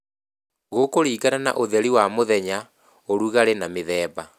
Gũkũringana na ũtheri wa mũthenya, ũrugali na mĩthemba